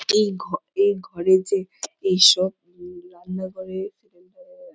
এই ঘ এই ঘরে যে এইসব উম রান্না করে সেখেনটা --